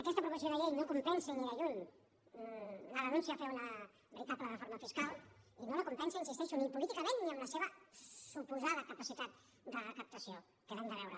aquesta proposició de llei no compensa ni de lluny la renúncia a fer una veritable reforma fiscal i no la compensa hi insisteixo ni políticament ni amb la seva suposada capacitat de recaptació que l’hem de veure